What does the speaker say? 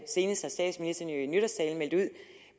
senest har statsministeren jo